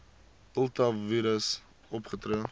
ultra vires opgetree